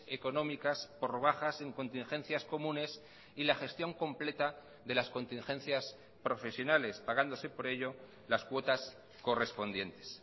económicas por bajas en contingencias comunes y la gestión completa de las contingencias profesionales pagándose por ello las cuotas correspondientes